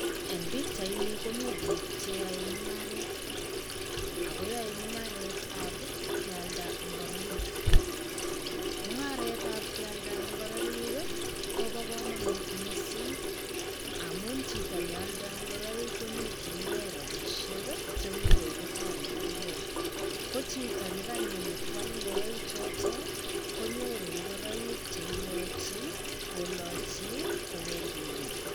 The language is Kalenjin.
Eng' pichaini komi biik cheyoe mung'aret. Ago yoe mung'aretab kealda ngoroik. Mung'aretab kealda ngoroik, kobo komonut missing amun chito nealdai ngoroik konyorchinigei rabishek che imuch kotaretegei. Ko chito nekanyokwal ngoroik choto, konyoru ngoroik cheilochi kolachi kopendi wui.